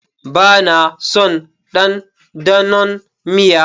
Ba na son dandanon miya.